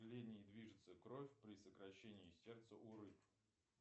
движется кровь при сокращении сердца у рыб